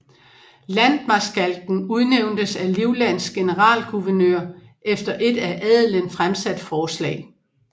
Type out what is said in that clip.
Landtmarskalken udnævntes af Livlands generalgouvernør efter et af adelen fremsat forslag